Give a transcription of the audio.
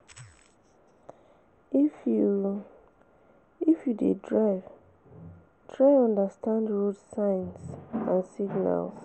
If you If you de drive try understand road signs and signals